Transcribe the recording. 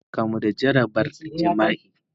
Maryam ta kamu da jarabar jima'i.